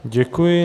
Děkuji.